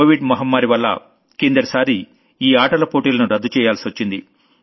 Covid మహమ్మారి వల్ల కిందటి సారి ఈ ఆటల పోటీలను రద్దు చెయ్యాల్సొచ్చింది